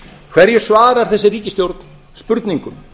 hverju svarar þessi ríkisstjórn spurningum